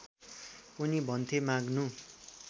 उनी भन्थे माग्नु